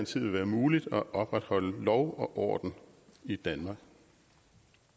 tid vil være muligt at opretholde lov og orden i danmark